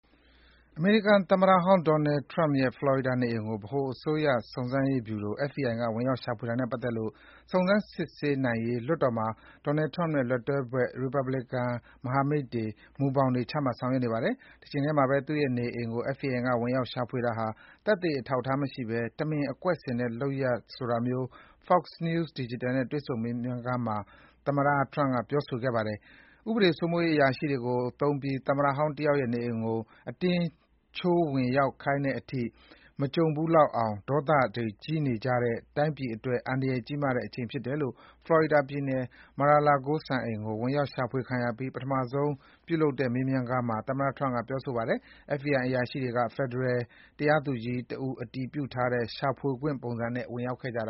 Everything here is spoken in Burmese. အမေရိကန်သမ္မတဟောင်း Donald Trump ရဲ့ ဖလော်ရီဒါနေအိမ်ကို ဖက်ဒရယ်စုံစမ်းရေး ဗျူရို FBI က ဝင်ရောက်ရှာဖွေတာနဲ့ပတ်သက်လို့ စုံစမ်းစစ်ဆေးနိုင်ရေး လွှတ်တော်မှာ Donald Trump နဲ့ လက်တွဲဘက် ရီပတ်ဗလစ်ကန်မဟာမိတ်တွေ မူဘောင်တွေ ချမှတ်ဆောင်ရွက်နေပါတယ်။ တချိန်တည်းမှာ သူ့ရဲ့နေအိမ်ကို FBI က ဝင်ရောက်ရှာဖွေတာဟာ သက်သေအထောက်အထားမရှိဘဲ တမင်အကွက်ဆင်တဲ့လုပ်ရပ်ဆိုတာမျိုး Fox News Digital နဲ့တွေ့ဆုံမေးမြန်းခန်းမှာ သမ္မတဟောင်းထရမ့်က ပြောဆိုသွားပါတယ်။ ဥပဒေစိုးမိုးရေးအရာရှိတွေကိုသုံးပြီး သမ္မတဟောင်းတယောက်ရဲ့နေအိမ်ကို အတင်းချိုးဝင်ရောက်ခိုင်းတဲ့အထိ မကြုံဘူးလောက်အောင် ဒေါသတွေ ကြီးနေကြတဲ့၊ တိုင်းပြည်အတွက် အန္တရယ်ကြီးမားတဲ့ အချိန်ဖြစ်တယ်လို့ ဖလော်ရီဒါပြည်နယ် Mar-a-Lago စံအိမ်ကို ဝင်ရောက်ရှာဖွေခံရပြီး ပထမဆုံး တွေ့ဆုံမေးမြန်းခန်းမှာ Donald Trump ပြောဆိုပါတယ်။ FBI အရာရှိတွေက ဖယ်ဒရယ်တရားသူကြီးတဦး အတည်ပြုထားတဲ့ ရှာဖွေခွင့်ပုံစံနဲ့ ဝင်ရောက်ခဲ့တာ